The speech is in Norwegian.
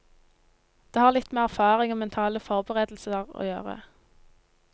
Det har litt med erfaring og mentale forberedelser å gjøre.